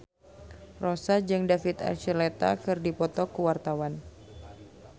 Rossa jeung David Archuletta keur dipoto ku wartawan